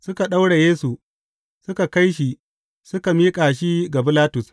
Suka daure Yesu, suka kai shi, suka miƙa shi ga Bilatus.